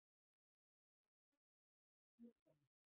Gengur að glugganum.